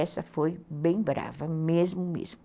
Essa foi bem brava, mesmo mesmo.